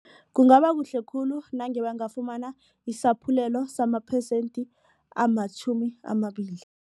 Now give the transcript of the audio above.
Kungaba kuhle khulu nange nabangafumana isaphulelo samaphesente amatjhumi amabili.